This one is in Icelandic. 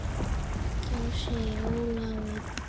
Þá segir Ólafur